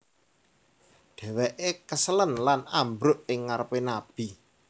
Dheweke keselen lan ambruk ing ngarepe Nabi